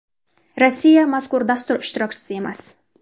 Rossiya mazkur dastur ishtirokchisi emas.